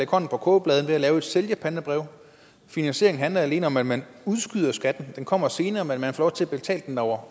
hånden på kogepladen ved at man laver et sælgerpantebrev finansieringen handler alene om at man udskyder skatten den kommer senere men man får lov til at betale den over